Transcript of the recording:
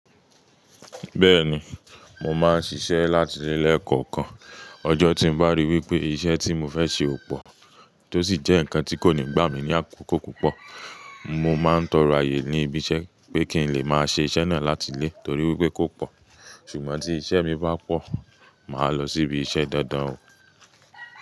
Bẹ́ẹ̀ni, mo máa ń ṣiṣẹ́ láti lé lekọ̀ọ̀kan. Ọjọ́ tí mo bá ríi wípé iṣẹ́ tí mo fẹ́ ṣe ò pọ̀ tó sì jẹ́ ǹkan tí kò ní gbà mí ní àkókò púpọ̀, mo máa ń tọrọ ayé ní ibi iṣẹ́ pé kí n lè máa ṣe iṣẹ́ náà láti lé torí wípé kò pọ̀. Ṣùgbọ́n tí iṣẹ́ mi bá pọ̀, màá lọ síbi iṣẹ́ dándán.